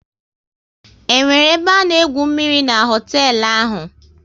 Is there swimming pool at that hotel?